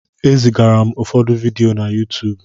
E zigara m ụfọdụ vidiyo na Yuutuubu.